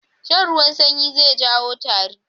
Shan ruwan sanyi zai jawo tari